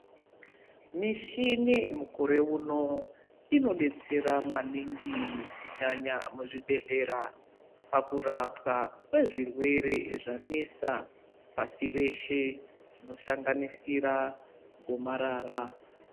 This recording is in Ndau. Mishini mukore uno inodetsera maningi kunyanya muzvibhehlera pakurapwa kwezvirwere zvanesa pasi reshe zvinosanganisira gomarara.